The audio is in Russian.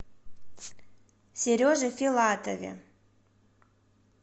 сереже филатове